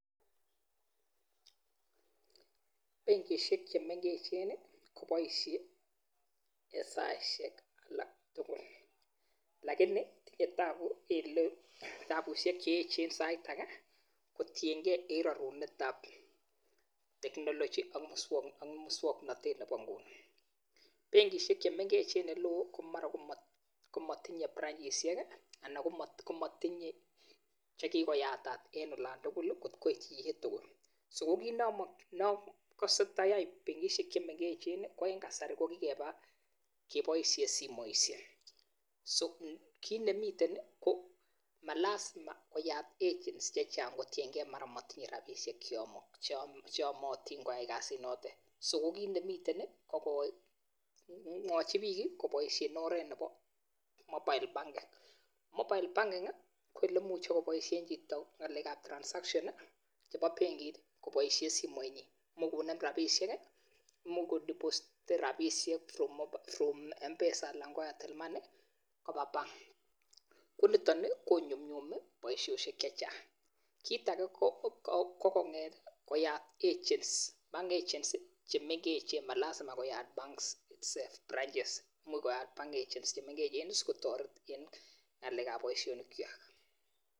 Benkishek che mengechen ko boishen saishek alak tugul lakini taku ele tabushek che echen sait age ko tienge e rarunetab technology ak muswaknatet nebo nguni, benkishek che mengechen en oloo ko mara komatinye branchishek anan ko matinye che kikoyatat eng olando tugul kot ko itji chitugul so kiii ne akase tayai benkishek che mengechen ko eng kasari ko keba kiboishe simoisyek, so kii ne miten ko ma lasma koyat agents che chang kotienge mara matinye robishek che yamotin koai kasit noto, so kii ne miten ko mwochi biik ko boishen oret nebo mobile banking, mobile banking ko ole imuchi kobaishe chito ng'alekab transaction chebo benkit ko boishen simenyin, mukunde rabishek, mukudepositen rabishek from m-pesa anan ko Airtel money koba bank ku niton ko nyumnyumi boishoshek che chang, kiit age ko koyat agents, bank agents ma lasma koyat banks um branches, muy koyat bank agents che mengechen si kotoret eng ng'alekab boishonik kwak.